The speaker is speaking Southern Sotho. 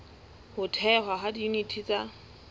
ho thehwa ha diyuniti tsa